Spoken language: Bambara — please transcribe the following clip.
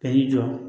Ka n'i jɔ